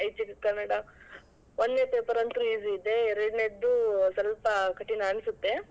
ಐಚ್ಚಿಕ ಕನ್ನಡ ಒನ್ನೇ paper ಅಂತೂ easy ಇದೆ. ಎರ್ಡನೇದೂ ಸ್ವಲ್ಪಕಠಿಣ ಅನ್ಸುತ್ತೆ.